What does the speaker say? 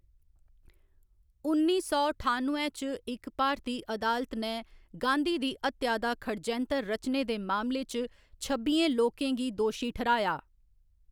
उन्नी सौ ठानुए च इक भारती अदालत ने गांधी दी हत्या दा खडजैंतर रचने दे मामले च छब्बियें लोकें गी दोशी ठैह्‌राया।